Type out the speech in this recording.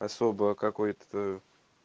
особо какой-то то